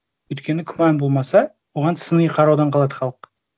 өйткені күмән болмаса оған сыни қараудан қалады халық